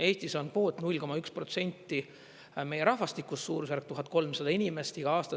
Eestis on kvoot 0,1 protsenti meie rahvastikust, suurusjärk 1300 inimest iga aasta.